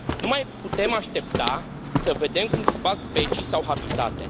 Nu mai putem aștepta să vedem cum dispar specii sau habitate.